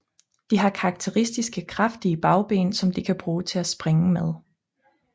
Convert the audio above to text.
De har karakteristiske kraftige bagben som de kan bruge til at springe med